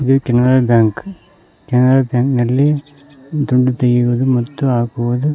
ಇದು Canara bank Canara bank ನಲ್ಲಿ ದುಡ್ಡು ತೆಗೆಯುವುದು ಮತ್ತು ಹಾಕುವುದು--